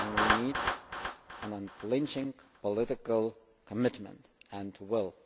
And we need an unflinching political commitment and will.